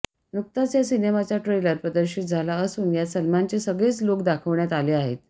नुकताच या सिनेमाचा ट्रेलर प्रदर्शित झाला असून यात सलमानचे सगळेच लुक दाखवण्यात आले आहेत